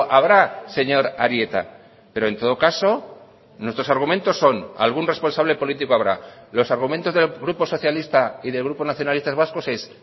habrá señor arieta pero en todo caso nuestros argumentos son algún responsable político habrá los argumentos del grupo socialista y del grupo nacionalistas vascos es